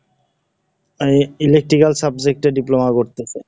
এ electrical subject এ diploma করতেছে।